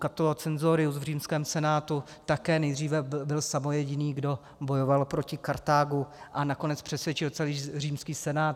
Cato Censorius v římském senátu také nejdříve byl samojediný, kdo bojoval proti Kartágu, a nakonec přesvědčil celý římský senát.